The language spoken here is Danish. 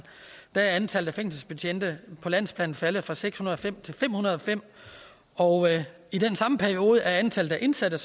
er antallet af fængselsbetjente på landsplan faldet fra seks hundrede og fem til fem hundrede og fem og i den samme periode er antallet af indsatte